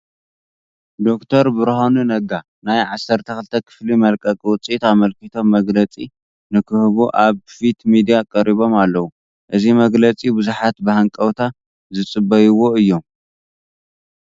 ዶክተር ብርሃኑ ነጋ ናይ 12ተ ክፍሊ መልቀቂ ውፅኢት ኣመልኪቶም መግለፂ ንክህቡ ኣብ ፊት ሚድያ ቀሪቦም ኣለዉ፡፡ እዚ መግለፂ ብዙሓት ብሃንቀውታ ዝፅበይዎ እዮም፡፡